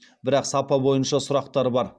бірақ сапа бойынша сұрақтар бар